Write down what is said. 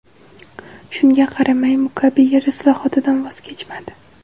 Shunga qaramay, Mugabe yer islohotidan voz kechmadi.